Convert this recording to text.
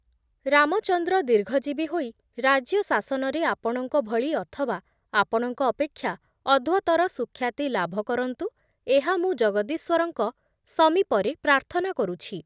ରାମଚନ୍ଦ୍ର ଦୀର୍ଘଜୀବୀ ହୋଇ ରାଜ୍ୟ ଶାସନରେ ଆପଣଙ୍କ ଭଳି ଅଥବା ଆପଣଙ୍କ ଅପେକ୍ଷା ଅଧ୍ଵତର ସୁଖ୍ୟାତି ଲାଭ କରନ୍ତୁ, ଏହା ମୁଁ ଜଗଦୀଶ୍ବରଙ୍କ ସୀମୀପରେ ପ୍ରାର୍ଥନା କରୁଛି ।